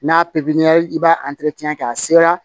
N'a pipiniyɛri i b'a kɛ a sera